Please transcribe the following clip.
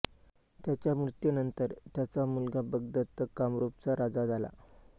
त्याच्या मृत्यूनंतर त्याचा मुलगा भगदत्त कामरूपचा राजा झाला